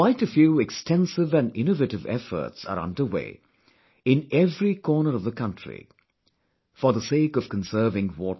Quite a few extensive & innovative efforts are under way, in every corner of the country, for the sake of conserving water